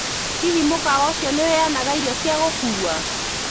Hihi mũkawa ũcio nĩ ũheanaga irio cia gũkuua